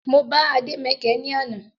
Mo bá Ade mẹkẹ ní àná